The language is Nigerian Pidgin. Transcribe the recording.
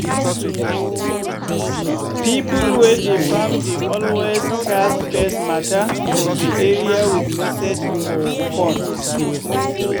people wey dey farm dey always cast pest matter for the area with message for phone.